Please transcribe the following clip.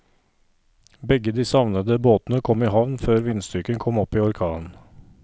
Begge de savnede båtene kom i havn før vindstyrken kom opp i orkan.